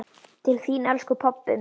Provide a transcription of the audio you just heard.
Til þín, elsku pabbi minn.